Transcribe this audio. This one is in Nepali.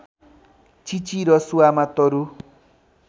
चिची रसुवामा तरु